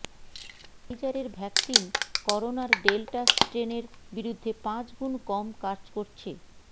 ফাইজারের vaccine করোনার delta স্ট্রেনের বিরুদ্ধে পাঁচগুন কম কাজ করছে